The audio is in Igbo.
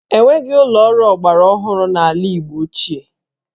E nweghị ụlọ ọrụ ọgbara ọhụrụ n'ala Igbo ochie